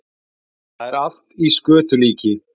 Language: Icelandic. Það er allt í skötulíki